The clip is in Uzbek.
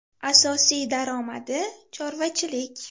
Asosiy daromadi chorvachilik.